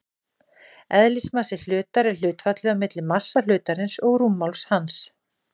Eðlismassi hlutar er hlutfallið á milli massa hlutarins og rúmmáls hans.